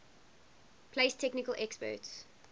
place technical experts